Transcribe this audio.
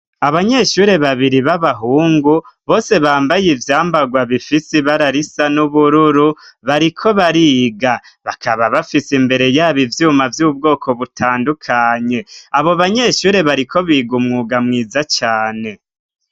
Abanyeshuri babiri b'abahungu bose bambaye ivyambagwa bifisi ibara risa n'ubururu bariko bariga, bakaba bafise imbere yabo ivyuma vy'ubwoko butandukanye ,abo banyeshuri bariko biga umwuga mwiza cane.